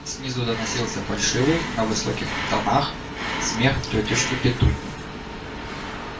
снизу доносился фальшивый на высоких нотах смех тётушки петуньи